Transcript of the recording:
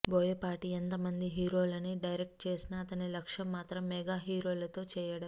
బోయపాటి ఎంతమంది హీరోలని డైరెక్ట్ చేసినా అతని లక్ష్యం మాత్రం మెగా హీరోలతో చేయడం